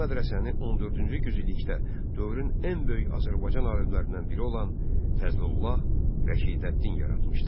Bu mədrəsəni 14-cü yüzillikdə dövrün ən böyük Azərbaycan alimlərindən biri olan Fəzlullah Rəşidəddin yaratmışdır.